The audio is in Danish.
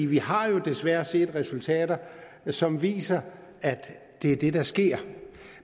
vi har jo desværre set resultater som viser at det er det der sker